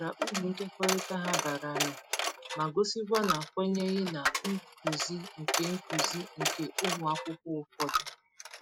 O kwuputara uru nkekọrịta ha bara nụ ma gosikwa na kwenyeghị na nkuzi nke nkuzi nke ụmụ akwụkwọ ụfọdụ.